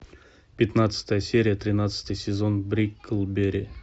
пятнадцатая серия тринадцатый сезон бриклберри